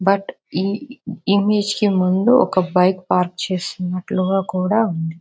But ఈ image కి ముందు ఒక బైక్ పాక్ చేసినట్లుగా కూడా ఉంది.